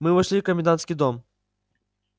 мы вошли в комендантский дом